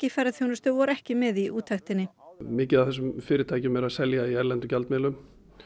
í ferðaþjónustu voru ekki með í úttektinni mikið af þessum fyrirtækjum eru að selja í erlendum gjaldmiðlum